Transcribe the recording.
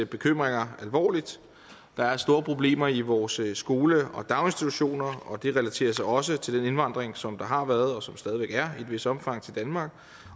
bekymringer alvorligt der er store problemer i vores skoler og daginstitutioner og det relaterer sig også til den indvandring som der har været og som der stadig væk er i et vist omfang til danmark